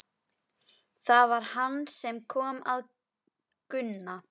Það var hann sem kom að Gunna.